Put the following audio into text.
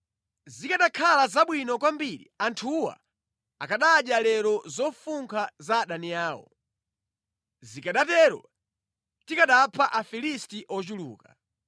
Zikanakhala zabwino kwambiri anthuwa akanadya lero zofunkha za adani awo. Zikanatero tikanapha Afilisti ochuluka.”